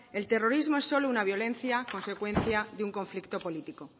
el terrorismo es solo una violencia consecuencia de un conflicto político